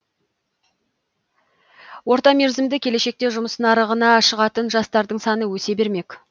орта мерзімді келешекте жұмыс нарығына шығатын жастардың саны өсе бермек